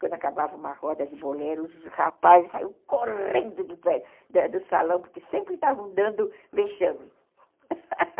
Quando acabava uma roda de boleiro, os rapazes saíram correndo de perto do do salão, porque sempre estavam dando vexame